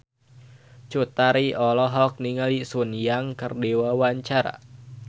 Cut Tari olohok ningali Sun Yang keur diwawancara